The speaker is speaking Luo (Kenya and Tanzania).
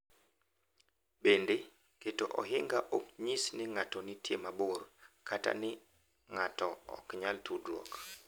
Bende, keto ohinga ok nyis ni ng’ato nitie mabor kata ni ng’ato ok nyal tudruok.